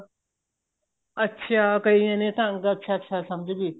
ਅੱਛਾ ਕਈਆਂ ਨੇ ਢੰਗ ਅੱਛਾ ਅੱਛਾ ਸਮਝਗੀ